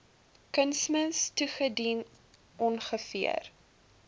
kunsmis toegedien ongeveer